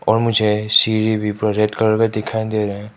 और मुझे सिरी भी पुरा रेड कलर का दिखाई दे रहा है।